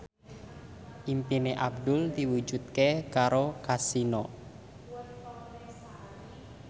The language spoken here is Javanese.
impine Abdul diwujudke karo Kasino